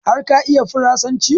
Har ka iya farasanci?